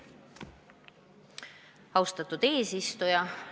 Austatud eesistuja!